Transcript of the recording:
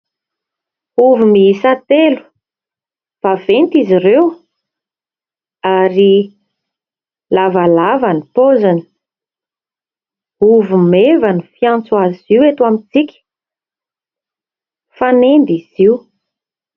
Ovy miisa telo, vaventy izy ireo ary lavalava ny paoziny. Ovy meva no fiantso azy io eto amitsika fanendy izy io.